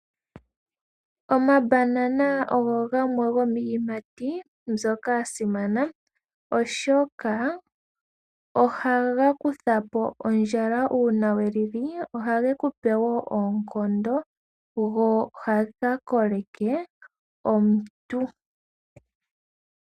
Omabanana ogo gamwe gomiiyimati mbyoka ya simana oshoka ohaga kutha po ondjala uuna we li li ohagu kupe oonkondo go ohaga koleke omuntu.